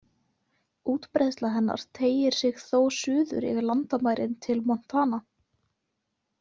Útbreiðsla hennar teygir sig þó suður yfir landamærin til Montana.